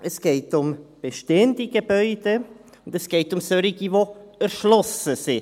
Es geht um bestehende Gebäude, und es geht um solche, die erschlossen sind.